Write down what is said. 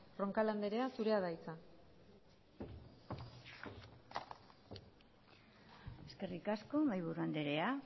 roncal andrea zurea da hitza eskerrik asko mahaiburu andrea